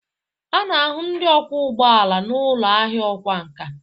A na-ahụ ndị ọkwọ ụgbọ ala n'ụlọ ahịa ọkwá nkà